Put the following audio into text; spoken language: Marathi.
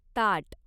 ताट